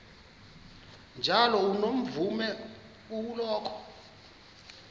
njalo unomvume kuloko